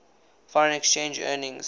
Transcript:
foreign exchange earnings